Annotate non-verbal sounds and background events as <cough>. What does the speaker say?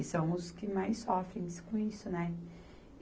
E são os que mais sofrem <unintelligible> com isso, né?